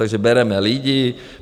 Takže bereme lidi.